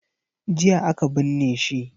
Jiya aka binne shi.